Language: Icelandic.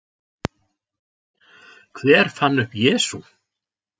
Hver fann upp Jesú?